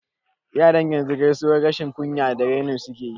I, yaran yanzu gaisuwan rashin kunya da raini suke yi